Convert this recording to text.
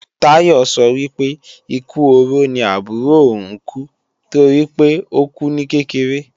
Táyọ sọ wípé, ikú oró ni àbúrò ò ń kú, toripé ókú ní kékeré